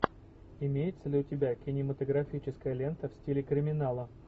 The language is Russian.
имеется ли у тебя кинематографическая лента в стиле криминала